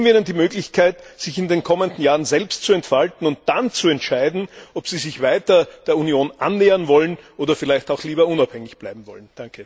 Geben wir ihnen die Möglichkeit, sich in den kommenden Jahren selbst zu entfalten und dann zu entscheiden, ob sie sich weiter der Union annähern wollen oder vielleicht auch lieber unabhängig bleiben wollen.